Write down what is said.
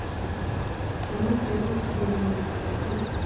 кино презумпция невиновности открой